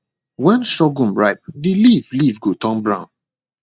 when surghum ripe the leaf leaf go turn brown